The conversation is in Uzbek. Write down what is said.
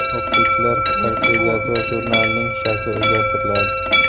o‘qituvchilar dars rejasi va jurnalining shakli o‘zgartiriladi.